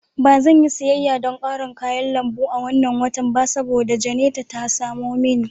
Ba zan yi siyayya don ƙarin kayan lambu a wannan watan ba saboda Jane ta samo mini.